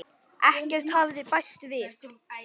Ekkert hafði bæst við.